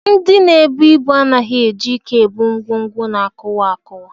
Ndị na-ebu ibu anaghị eji ike ebu ngwongwo na-akụwa akụwa